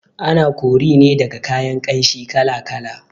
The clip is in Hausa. Ana kori ne daga kayan ƙanshi kala kala